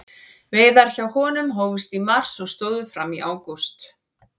Veiðar hjá honum hófust í mars og stóðu fram í ágúst.